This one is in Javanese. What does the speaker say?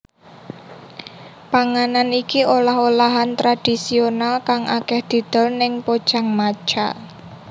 Panganan iki olah olahan tradisional kang akèh didol ning Pojangmacha